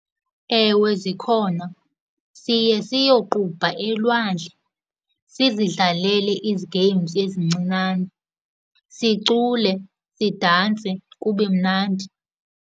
Ewe, zikhona. Siye siyoqubha elwandle, sizidlalele games ezincinane, sicule, sidanse, kube mnandi.